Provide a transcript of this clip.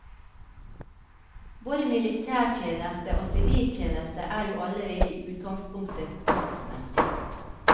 Både militærtjeneste og siviltjeneste er jo allerede i utgangspunktet tvangsmessig.